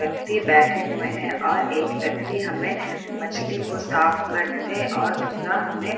व्यक्ति बैठे हुए हैं और एक व्यक्ति हमें मछली को साफ करते और दूसरा हमे --